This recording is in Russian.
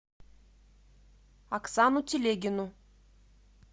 оксану телегину